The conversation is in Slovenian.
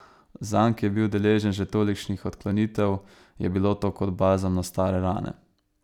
Zanj, ki je bil deležen že tolikšnih odklonitev, je bilo to kot balzam na stare rane.